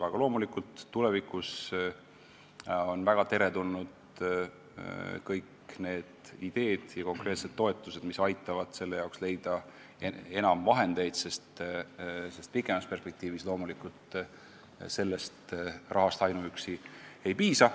Aga loomulikult on väga teretulnud kõik ideed ja konkreetsed toetused, mis aitavad selle elluviimiseks leida enam vahendeid, sest pikemas perspektiivis loomulikult ainuüksi sellest rahast ei piisa.